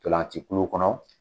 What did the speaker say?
Ntolanci kulu kɔnɔ.